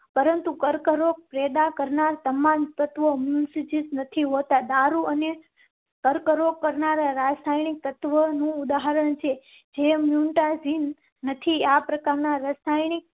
પરંતુ કર્કરોગ પેદા કરનારાં તમામ તત્વો મસ્જિત નથી હોતા. દારૂ અને સ્ટાર કરો કરનારા સ્થાનિક તત્વનું ઉદાહરણ છે જે મ્યુટાજિન નથી. આ પ્રકારના રાસાયણિક